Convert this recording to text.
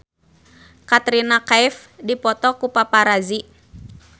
Katrina Kaif dipoto ku paparazi